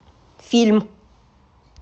фильм